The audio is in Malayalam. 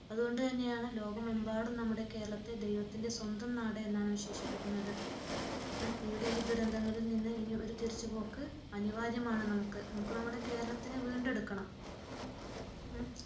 അതുകൊണ്ടുതന്നെയാണ് ലോകമെമ്പാടും നമ്മുടെ കേരളത്തെ ദൈവത്തിന്റെ സ്വന്തം നാട് എന്ന് വിശേഷിപ്പിക്കുന്നത് ഇവിടെ ഈ ദുരന്തങ്ങളിൽ നിന്ന് ഒരു തിരിച്ചുപോക്ക് അനിവാര്യമാണ് നമുക്ക്. നമുക്ക് നമ്മുടെ കേരളത്തിനെ വീണ്ടെടുക്കണം